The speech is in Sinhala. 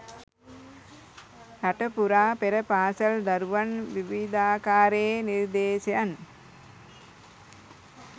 රට පුරා පෙර පාසල් දරුවන් විවිධාකාරයේ නිර්දේශයන්